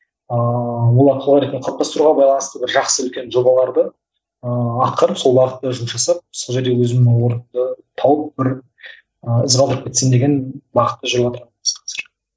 ыыы олар тұлға ретінде қалыптастыруға байланысты бір жақсы үлкен жобаларды ыыы атқарып сол бағытта жұмыс жасап сол жерде өзімнің орнымды тауып бір ыыы із қалдырып кетсем деген бағытта жүріватырмыз